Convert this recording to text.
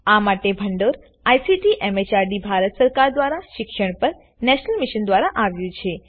આ માટે ભંડોળ આઇસીટી એમએચઆરડી ભારત સરકાર દ્વારા શિક્ષણ પર નેશનલ મિશન દ્વારા આવ્યું છે